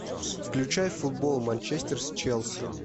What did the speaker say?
включай футбол манчестер с челси